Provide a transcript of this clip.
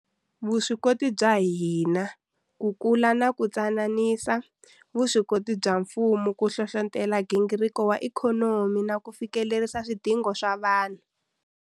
Vuswikoti bya hina ku kula na ku tsanisa vuswikoti bya mfumo ku hlohlotela nghingiriko wa ikhonomi na ku fikelerisa swidingo swa vanhu.